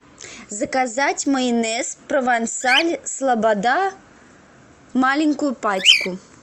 заказать майонез провансаль слобода маленькую пачку